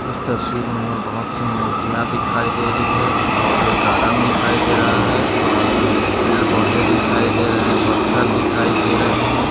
इस तस्वीर मे हमे बहुत सी मूर्तिया दिखाई दे रही है और गार्डन दिखाई दे रहा है और पेड़ पौधे दिखाई दे रहे पत्थर दिखाई दे रहे है।